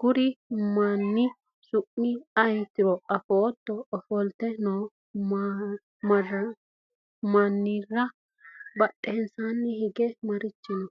kuri manni su'mi ayeeotiro afootto? ofolte no mannira badheenni hige marichi no?